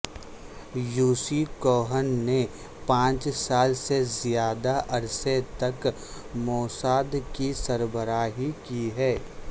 Yossi Cohen نے پانچ سال سے زیادہ عرصے تک موساد کی سربراہی کی ہے